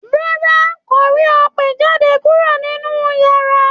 Rárá,n kò rí ọ pe o jáde kúrò nínú yàrá.